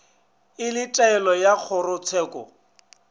e le taelo ya kgorotsheko